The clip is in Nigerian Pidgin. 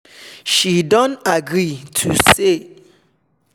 she don agree to leave wetin ordas say dem nor like for back